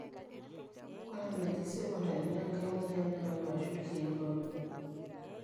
ore enaji sekondari naa enkai mweyian nayau aashu irkeek ooje